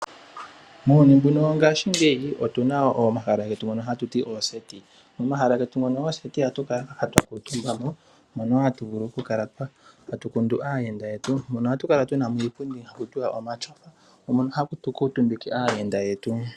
Muuyuni mbuno wongaashingeyi otu na omahala ngono hatu ti ooseti. Momahala getu ngono gooseti ohatu kala twa kuutumba mo mono wo hatu vulu okukala tatu kundu aayenda yetu. Mono ohatu kala tu na mo iipundi hatu ti omatyofa mono hatu kuutumbike aayenda yetu.